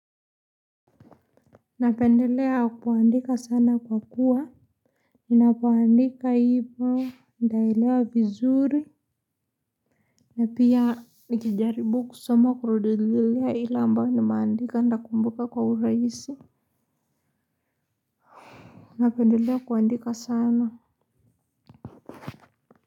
Napendelea kuandika sana kwa kuwa, ninapoandika hivo nitaelewa vizuri. Na pia, nikijaribu kusoma kurududilia ile ambayo nimeandika ntakumbuka kwa urahisi. Napendelea kuandika sana.